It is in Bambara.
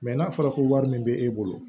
n'a fɔra ko wari min bɛ e bolo